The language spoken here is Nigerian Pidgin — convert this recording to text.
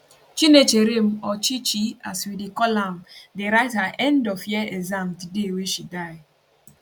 chinecherem or chi chi as we dey call am dey write her endof year exams di day wey she die